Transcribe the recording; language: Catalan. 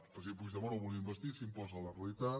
el president puigdemont el volien investir i s’imposa la realitat